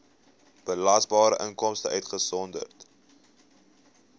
belasbare inkomste uitgesonderd